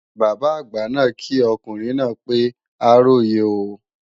Bàbá àgbà náà kí ọkùnrin náà pé a róyè o